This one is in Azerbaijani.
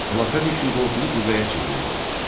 Xilafət üçün qorxulu qüvvəyə çevrildi.